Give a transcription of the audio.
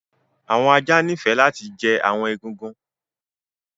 Awọn ajá níìfẹ lati jẹ́ awọn ègúngún